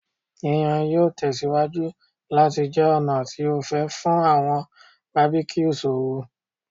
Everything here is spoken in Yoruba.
Yiyan yoo tẹsiwaju lati jẹ ọna ti o fẹ fun awọn barbecues ooru